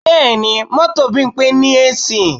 Bẹ́ẹ̀ni, mọ́tò Bímpé ní AC